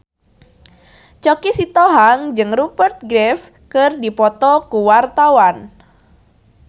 Choky Sitohang jeung Rupert Graves keur dipoto ku wartawan